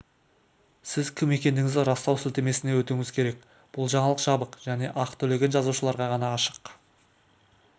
сіз кім екендігіңізді растау сілтемесіне өтуіңіз керек бұл жаңалық жабық және ақы төлеген жазылушыларға ғана ашық